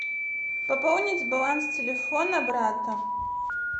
пополнить баланс телефона брата